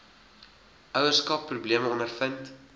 ouerskap probleme ondervind